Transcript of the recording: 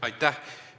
Aitäh!